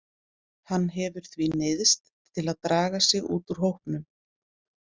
Hann hefur því neyðst til að draga sig út úr hópnum.